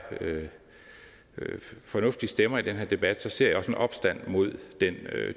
fornuftige stemmer i den debat ser jeg også en opstand mod den